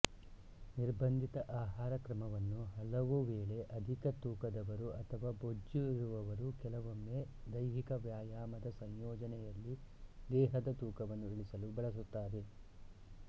ನಿರ್ಬಂಧಿತ ಆಹಾರಕ್ರಮವನ್ನು ಹಲವುವೇಳೆ ಅಧಿಕ ತೂಕದವರು ಅಥವಾ ಬೊಜ್ಜಿರುವವರು ಕೆಲವೊಮ್ಮೆ ದೈಹಿಕ ವ್ಯಾಯಾಮದ ಸಂಯೋಜನೆಯಲ್ಲಿ ದೇಹದ ತೂಕವನ್ನು ಇಳಿಸಲು ಬಳಸುತ್ತಾರೆ